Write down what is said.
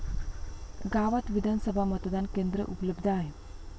गावात विधानसभा मतदान केंद्र उपलब्ध आहे.